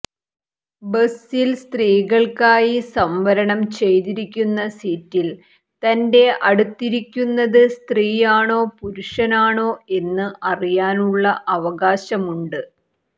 ബസിൽ സ്ത്രീകൾക്കായി സംവരണം ചെയ്തിരിക്കുന്ന സീറ്റിൽ തന്റെ അടുത്തിരിക്കുന്നത് സ്ത്രീയാണോ പുരുഷനാണോ എന്ന് അറിയാനുള്ള അവകാശമുണ്ട്